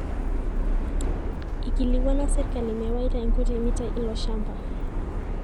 Ikilikuana serkali mewaita nkuti mitai ilo shamba.